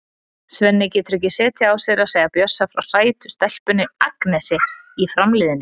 Svenni getur ekki setið á sér að segja Bjössa frá sætu stelpunni, Agnesi, í Fram-liðinu.